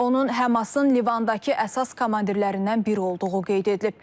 Onun Həmasın Livandakı əsas komandirlərindən biri olduğu qeyd edilib.